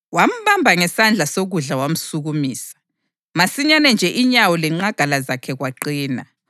Wambamba ngesandla sokudla wamsukumisa, masinyane nje inyawo lenqagala zakhe kwaqina.